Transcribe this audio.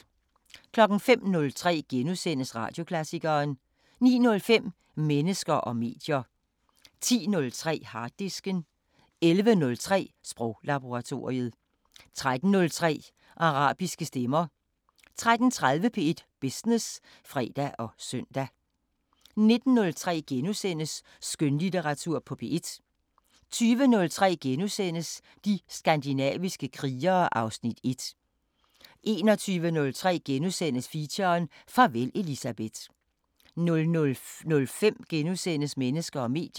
05:03: Radioklassikeren * 09:05: Mennesker og medier 10:03: Harddisken 11:03: Sproglaboratoriet 13:03: Arabiske Stemmer 13:30: P1 Business (fre og søn) 19:03: Skønlitteratur på P1 * 20:03: De skandinaviske krigere (Afs. 1)* 21:03: Feature: Farvel Elisabeth * 00:05: Mennesker og medier *